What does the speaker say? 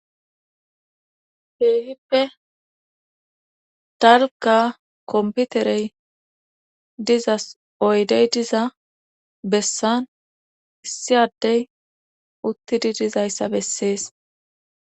Heehippe talka komputerey dizas oydey diza bessan issi addey uttidi dizayssa bessees.